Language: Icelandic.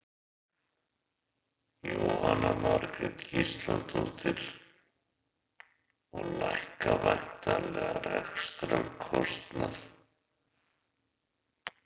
Jóhanna Margrét Gísladóttir: Og lækka væntanlega rekstrarkostnað?